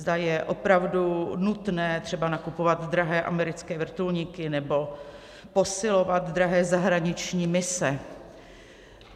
Zda je opravdu nutné třeba nakupovat drahé americké vrtulníky nebo posilovat drahé zahraniční mise.